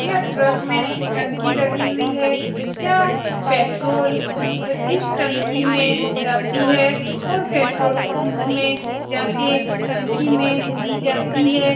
यह ट्रक में टंकी लगी हुई है यह पेट्रोल अ इस टंकी में जाती है और पेट्रोल पंप में जा के टंकी में दी जाती है ।